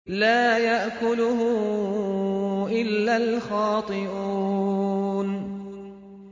لَّا يَأْكُلُهُ إِلَّا الْخَاطِئُونَ